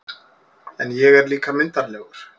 En ég er líka myndarlegur